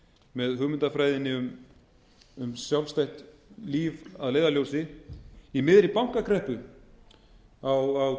með hugmyndafræðinni um sjálfstætt líf að leiðarljósi í miðri bankakreppu á